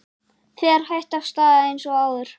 Fer hægt af stað eins og áður